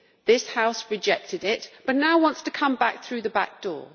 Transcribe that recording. this House rejected it you now want it to come back in through the back door.